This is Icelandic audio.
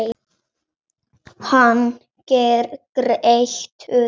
Hann grætur.